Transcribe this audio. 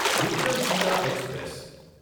Vikramshila express